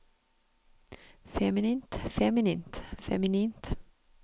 feminint feminint feminint